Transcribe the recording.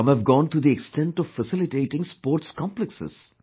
Some have gone to the extent of facilitating sports complexes